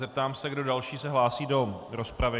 Zeptám se, kdo další se hlásí do rozpravy.